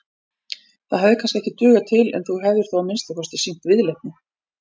Það hefði kannski ekki dugað til en þú hefðir þó að minnsta kosti sýnt viðleitni.